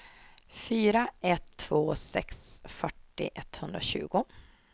fyra ett två sex fyrtio etthundratjugo